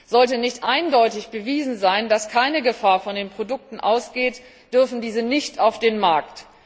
Sollte nicht eindeutig bewiesen sein, dass keine Gefahr von den Produkten ausgeht, dürfen diese nicht auf den Markt.